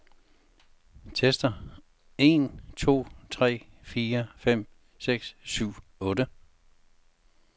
Tester en to tre fire fem seks syv otte.